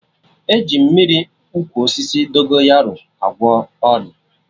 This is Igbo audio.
E ji Mmiri ụkwụ osisi Dogonyaro agwọ ọlị